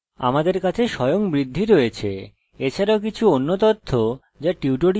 আমাদের কাছে স্বয়ংবৃদ্ধি আছে এছাড়া কিছু অন্য তথ্য যা এই টিউটোরিয়ালে জানার দরকার নেই